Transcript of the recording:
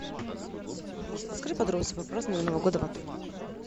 алиса подскажи подробности про празднование нового года в отеле